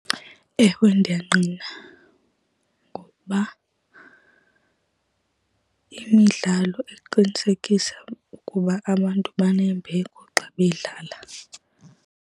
Ewe ndiyayingqina, ngokuba imidlalo iqinisekisa ukuba abantu banembeko xa bedlala.